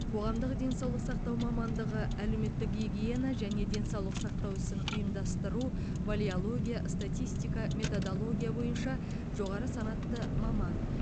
қоғамдық денсаулық сақтау мамандығы әлеуметтік гигиена және денсаулық сақтау ісін ұйымдастыру валеология статистика методология бойынша жоғары санатты маман